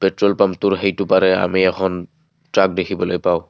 Petrol পাম্পটোৰ সেইটো পাৰে আমি এখন ট্ৰাক দেখিবলৈ পাওঁ।